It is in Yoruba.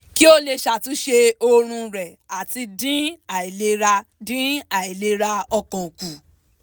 kí ó lè ṣàtúnṣe oorun rẹ̀ àti dín àìlera dín àìlera ọkàn kù